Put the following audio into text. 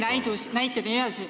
Küsimus, palun!